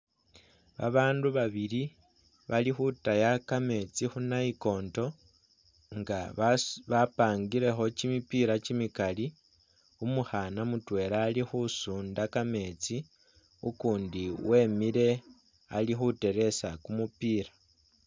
Babandu babili balikhutaya kametsi khunayikonto nga basu bapangilekho kyimipila kyimikali umukhna mutwela alikhusunda kametsi ukundi wemile alikhuteresa kumupila.